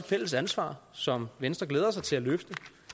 fælles ansvar som venstre glæder sig til at løfte